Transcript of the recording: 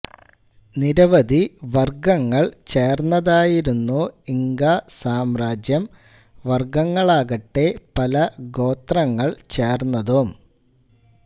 നിരവധിവർഗങ്ങൾ ചേർന്നതായിരുന്നു ഇങ്കാ സാമ്രാജ്യം വർഗങ്ങളാകട്ടെ പല ഗോത്രങ്ങൾ ചേർന്നതും